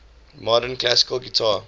modern classical guitar